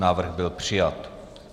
Návrh byl přijat.